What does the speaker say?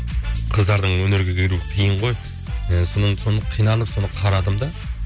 қыздардың өнерге келуі қиын ғой ы соны қиналып соны қарадым да